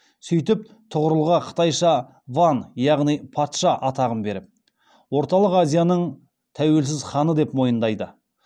сөйтіп тұғырылға қытайша ван яғни патша атағын беріп орталық азияның тәуелсіз ханы деп мойындайды